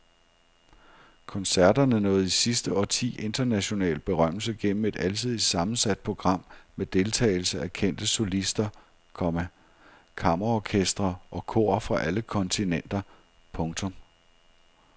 Koncerterne nåede i sidste årti international berømmelse gennem et alsidigt sammensat program med deltagelse af kendte solister, komma kammerorkestre og kor fra alle kontinenter. punktum